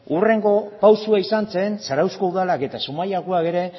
hurrengo pausua izan zen zarautzeko udalak eta zumaiakoak ere